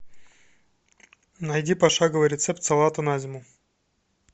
найди пошаговый рецепт салата на зиму